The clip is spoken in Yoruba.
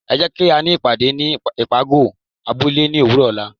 é jé kí á ní ìpàdé ní ipágọ abúle ní òwúrò ola